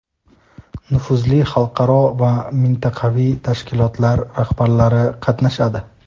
nufuzli xalqaro va mintaqaviy tashkilotlar rahbarlari qatnashadi.